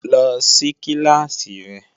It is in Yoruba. Lọ sí kíláàsì rẹ!